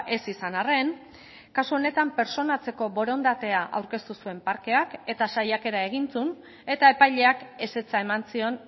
ez izan arren kasu honetan pertsonatzeko borondatea aurkeztu zuen parkeak eta saiakera egin zuen eta epaileak ezetza eman zion